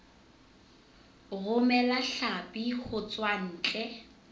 romela hlapi ho tswa ntle